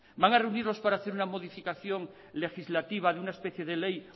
van a reunirlos para hacer una modificación legislativa de una especie de ley